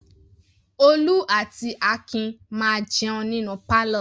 Olú àti Akin máa jẹun nínú pálọ̀.